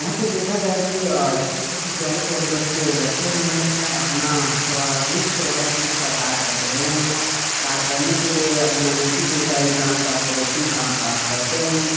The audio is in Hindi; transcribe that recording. यहाँ पे देखा जाये की अ छोटे-छोटे प्यारे प्यारे बच्चे बैठे हुए हैं। अअपना स्वादिष्ट वाला धर्ष का कार्य कर रहे है। कार्य करने के लिए अपना नेकी दिल का इंसान का प्रेप्सिम काम काम करते है।